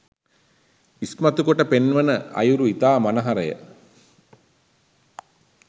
ඉස්මතු කොට පෙන්වන අයුරු ඉතා මනහරය